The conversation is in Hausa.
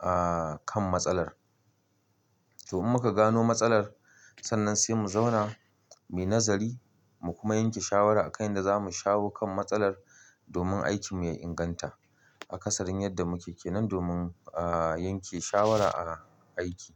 aaaa kan matsalar. To in muka gano matsalar, sannan sai mu zauna mai nazari mu kuma yanke shawara akan yadda zamu shawo kan matsalar domin aiki mu ya inganta. Kasalin yanda muke kenan domin aa yanke shawara a aiki.